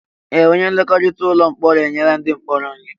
Ee! Onye nlekọta ụlọ mkpọrọ enyela ndị mkpọrọ nri.